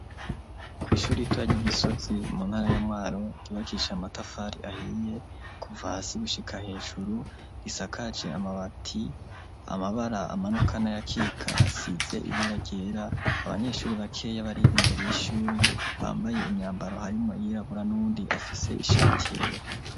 Kw'ishuri ritwaje igisozi mu ntara yamwaro gibakisha amatafari ahiye kuva hasi gushika hejuru risakaje amabati amabara amanokana ya kika size ibara ryera abanyeshuri ba keya bari imbere y'ishuri bambaye imyambaro harimo yirabura n'undi afise ishati yera.